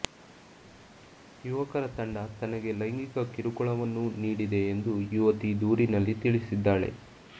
ಯುವಕರ ತಂಡ ತನಗೆ ಲೈಂಗಿಕ ಕಿರುಕುಳವನ್ನೂ ನೀಡಿದೆ ಎಂದು ಯುವತಿ ದೂರಿನಲ್ಲಿ ತಿಳಿಸಿದ್ದಾಳೆ